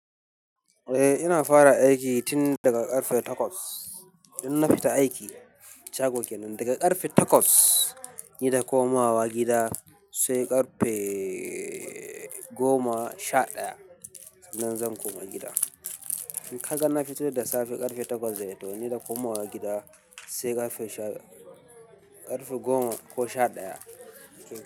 Eh, ina fara aiki tin daga ƙarfe takwas. In na fita aiki, shago kenan, daga ƙarfe takwas ni da komawa gida sai ƙarfe goma sha ɗaya. Nan zan koma gida. Kaga na fitowa da safe ƙarfe takwas dai, to ni da komowa gida sai ƙarfe sha-- ƙarfe goma ko sha ɗaya.